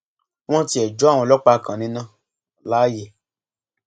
wọn tiẹ jó àwọn ọlọpàá kan níná láàyè